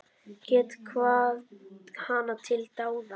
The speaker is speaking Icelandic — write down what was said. Get hvatt hana til dáða.